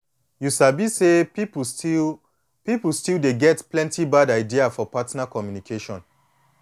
you sabi say people still people still dey get plenty bad idea for partner communication